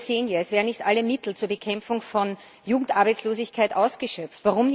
Wir sehen ja, es werden nicht alle Mittel zur Bekämpfung von Jugendarbeitslosigkeit ausgeschöpft.